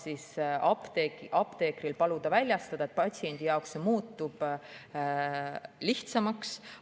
Seda saab nüüd paluda apteekril väljastada, patsiendi jaoks muutub see lihtsamaks.